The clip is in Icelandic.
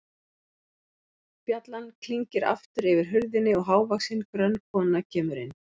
Bjallan klingir aftur yfir hurðinni og hávaxin, grönn kona kemur inn.